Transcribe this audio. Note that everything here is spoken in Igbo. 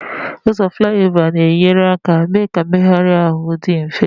Ụzọ Flyover na-enyere aka mee ka mmegharị ahụ dị mfe.